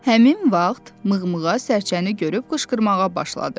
Həmin vaxt mıqmığa sərçəni görüb qışqırmağa başladı.